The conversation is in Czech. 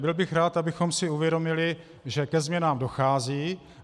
Byl bych rád, abychom si uvědomili, že ke změnám dochází.